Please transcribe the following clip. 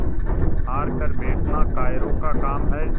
हार कर बैठना कायरों का काम है